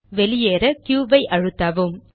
வெளியேற க்யூ ஐ அழுத்தவும்